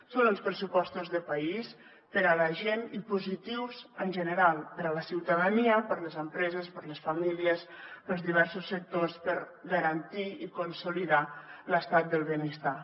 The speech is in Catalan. són uns pressupostos de país per a la gent i positius en general per a la ciutadania per a les empreses per a les famílies per als diversos sectors per garantir i consolidar l’estat del benestar